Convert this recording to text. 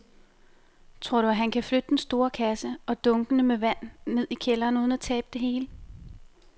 Tror du, at han kan flytte den store kasse og dunkene med vand ned i kælderen uden at tabe det hele?